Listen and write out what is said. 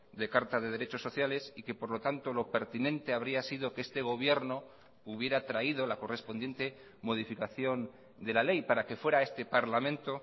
de carta de derechos sociales y que por lo tanto lo pertinente habría sido que este gobierno hubiera traído la correspondiente modificación de la ley para que fuera este parlamento